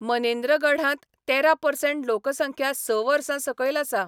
मनेन्द्रगढांत तेरा परसेंट लोकसंख्या स वर्सां सकयल आसा.